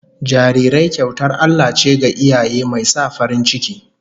Jarirai kyautar Allah ce ga iyaye, mai sa farin ciki